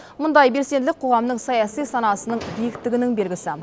мұндай белсенділік қоғамның саяси санасының биіктігінің белгісі